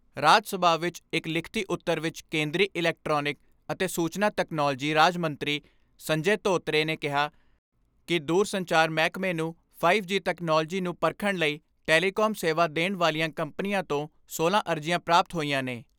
ਰਾਜ ਸਭਾ ਵਿਚ ਇਕ ਲਿਖਤੀ ਉਤਰ ਵਿਚ ਕੇਂਦਰੀ ਇਲੈਕਟ੍ਰਾਨਿਕ ਅਤੇ ਸੂਚਨਾ ਤਕਨਾਲੋਜੀ ਰਾਜ ਮੰਤਰੀ ਸੰਜੇ ਧੋਤਰੇ ਨੇ ਕਿਹਾ ਕਿ ਦੂਰ ਸੰਚਾਰ ਮਹਿਕਮੇ ਨੂੰ ਫਾਈਵ ਜੀ ਤਕਨਾਲੋਜੀ ਨੂੰ ਪਰਖਣ ਲਈ ਟੈਲੀਕਾਮ ਸੇਵਾ ਦੇਣ ਵਾਲੀਆਂ ਕੰਪਨੀਆਂ ਤੋਂ ਸੋਲਾਂ ਅਰਜ਼ੀਆਂ ਪ੍ਰਾਪਤ ਹੋਈਆਂ ਨੇ।